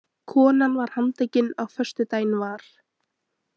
Konan var handtekin á föstudaginn var